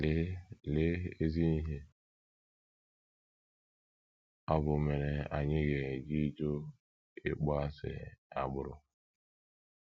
Lee Lee ezi ihe ọ bụ mere anyị ga - eji jụ ịkpọasị agbụrụ!